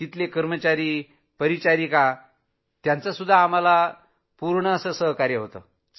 जे कर्मचारी परिचारिका होत्या त्यांनी आम्हाला पूर्ण सहयोग दिला